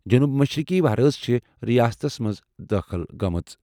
جنوٗب مشرقی وَہرٲژ چھےٚ رِیاستس منٛز دٲخٕل گٔمٕژ۔